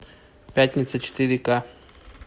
пятница четыре ка